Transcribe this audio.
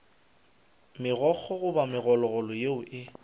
megokgo goba megololo yeo e